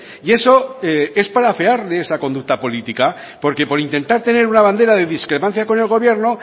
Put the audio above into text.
y eso es para afearle esa conducta política porque por intentar tener una bandera de discrepancia con el gobierno